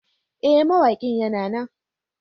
Ee, mawaƙin yana nan.